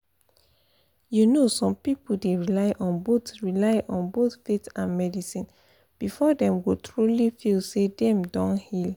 you know some people dey rely on both rely on both faith and medicine before dem go truly feel say dem don heal